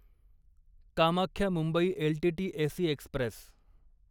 Kamakhya Mumbai L T T AC Express